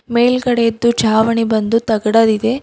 ಮೇಲ್ಗಡೆದ್ದು ಛಾವಣಿ ಬಂದು ತಗಡದ್ ಇದೆ.